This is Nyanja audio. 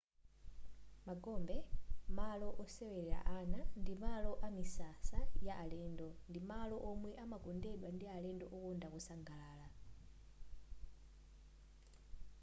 magombe malo osewelera ana ndi malo amisasa ya alendo ndi malo omwe amakondedwa ndi alendo okonda kusangalala